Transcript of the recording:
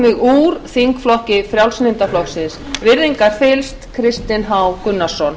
mig úr þingflokki frjálslynda flokksins virðingarfyllst kristinn h gunnarsson